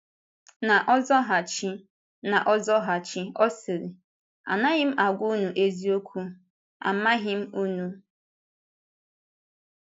N’ọzaghachi, N’ọzaghachi, ọ sịrị, “Anaghị m agwa unu eziokwu, amaghị m unu.”